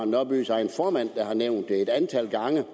nørbys egen formand der har nævnt det et antal gange